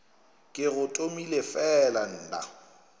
ke go tomele fela nna